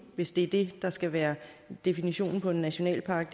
hvis det er det der skal være definitionen på en nationalpark